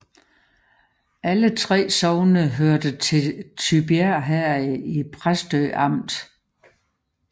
Alle 3 sogne hørte til Tybjerg Herred i Præstø Amt